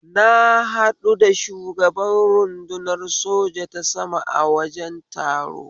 Na haɗu da shugaban rudunar soja ta sama a wajen taro